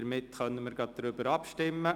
Somit können wir gleich darüber abstimmen.